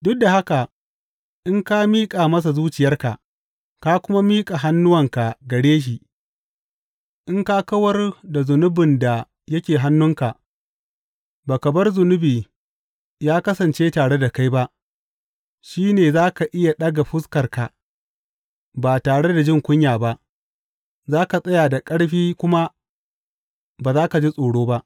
Duk da haka in ka miƙa masa zuciyarka, ka kuma miƙa hannuwanka gare shi, in ka kawar da zunubin da yake hannunka, ba ka bar zunubi ya kasance tare da kai ba shi ne za ka iya ɗaga fuskarka ba tare da jin kunya ba; za ka tsaya da ƙarfi kuma ba za ka ji tsoro ba.